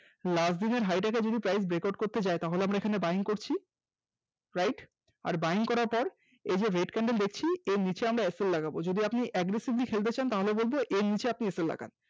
last দিনের high টাকে যদি price break out করতে যায় তাহলে আমরা এখানে buying করছি, right আর buying করার পর এই যে red candle দেখছি এর নিচে আমরা sl লাগাবো যদি আপনি aggressively খেলতে চান তাহলে বলব এর নিচে আপনি sl লাগান